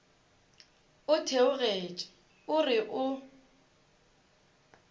o theogetše o re o